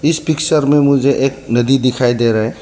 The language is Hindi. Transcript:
इस पिक्चर में मुझे एक नदी दिखाई दे रहा है।